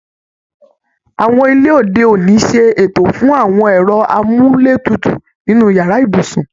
Awọn ilé òde òní ṣe ètò fún àwọn ẹ̀rọ amúletutù nínú yàrá ibùsùn